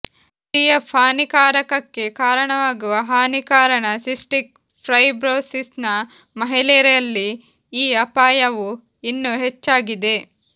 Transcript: CF ಹಾನಿಕಾರಕಕ್ಕೆ ಕಾರಣವಾಗುವ ಹಾನಿ ಕಾರಣ ಸಿಸ್ಟಿಕ್ ಫೈಬ್ರೋಸಿಸ್ನ ಮಹಿಳೆಯರಲ್ಲಿ ಈ ಅಪಾಯವು ಇನ್ನೂ ಹೆಚ್ಚಾಗಿದೆ